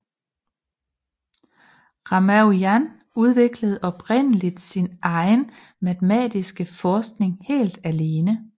Ramanujan udviklede oprindeligt sin egen matematisk forskning helt alene